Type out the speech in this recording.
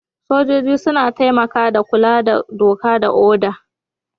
Sojoji suna taimaka da kula da doka ko oda.